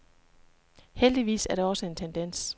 Heldigvis er det også en tendens.